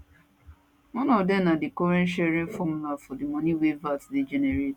one of dem na di current sharing formula for di money wey vat dey generate